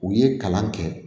U ye kalan kɛ